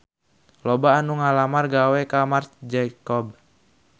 Loba anu ngalamar gawe ka Marc Jacob